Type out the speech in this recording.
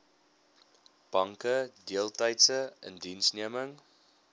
banke deeltydse indiensneming